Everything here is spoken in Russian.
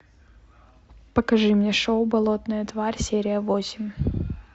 покажи мне шоу болотная тварь серия восемь